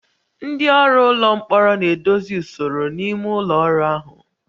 Ndị ọrụ ụlọ mkpọrọ na-edozi usoro n'ime ụlọ ọrụ ahụ